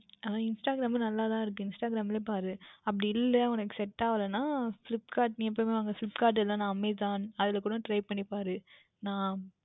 அஹ் Instagram யில் நன்றாக தான் இருக்கும் அதிலையே பார் அப்படி இல்லை என்றால் உனக்கு Set ஆகவில்லை என்றால் நீ Flipkart எப்பொழுதும் வாங்குகின்ற Flipkart Amazon அதுலையே கூட Try பண்ணி பார் நான்